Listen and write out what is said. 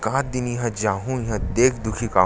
एकाक दिन इहाँ जाहूं इहाँ देख दुखी के आहू--